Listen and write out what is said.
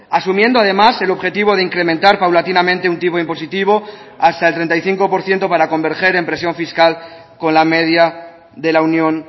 asumiendo además el objetivo de incrementar paulatinamente un tipo impositivo hasta el treinta y cinco por ciento para converger en presión fiscal con la media de la unión